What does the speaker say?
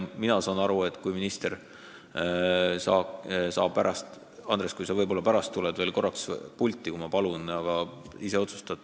Võib-olla minister tuleb pärast veel korraks pulti – eks ta ise otsustab.